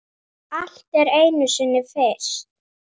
Allt er einu sinni fyrst.